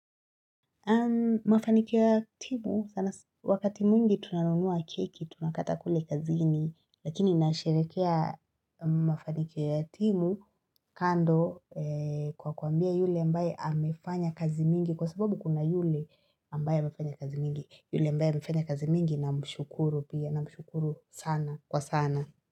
Mafanikio ya timu wakati mwingi tunanunua keki tunakata kule kazini lakini nasherekea mafanikio ya timu kando kwa kuambia yule ambaye amefanya kazi mingi kwa sababu kuna yule ambaye amefanya kazi mingi yule ambaye amefanya kazi mingi namshukuru pia, namshuruku sana kwa sana.